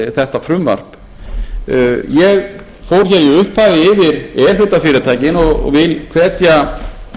þetta frumvarp ég fór hér í upphafi yfir e hluta fyrirtæki og vil hvetja